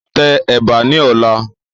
Tẹ Ẹ̀bà ni ọ̀la!